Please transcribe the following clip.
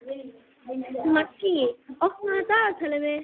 Maggý, opnaðu dagatalið mitt.